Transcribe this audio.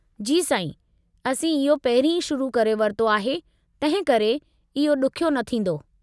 जी साईं, असीं इहो पहिरीं ई शुरू करे वरितो आहे तंहिंकरे इहो ॾुखियो न थींदो।